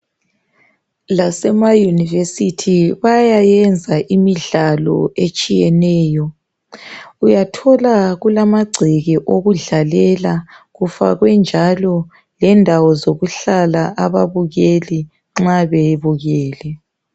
Lasemayunivesithi bayayenza imidlalo etshiyeneyo, uyathola kulamagceke wokudlalela. Kufakwe njalo lendawo zokuhlala ababukeli nxa bebukele.